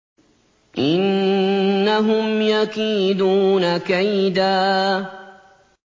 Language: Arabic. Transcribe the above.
إِنَّهُمْ يَكِيدُونَ كَيْدًا